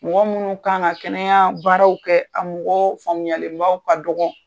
Mɔgɔ minnu kan ka kɛnɛya baaraw kɛ , a mɔgɔw faamuyalen baw ka dɔgɔ